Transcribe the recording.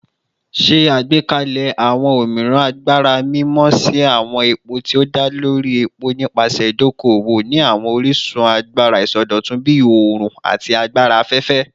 Ṣe agbekalẹ awọn omiiran agbara mimọ si awọn epo ti o da lori epo nipasẹ idoko-owo ni awọn orisun agbara isọdọtun bii oorun ati agbara afẹfẹ